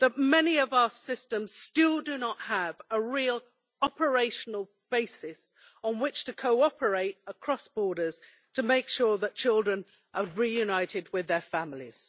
Many of our systems still do not have a real operational basis on which to cooperate across borders to make sure that children are reunited with their families.